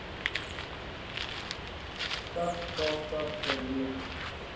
stad kaapstad oorweeg